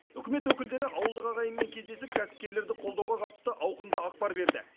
үкімет өкілдері ауылдық ағайынмен кездесіп кәсіпкерлерді қолдауға қатысты ауқымды ақпар берді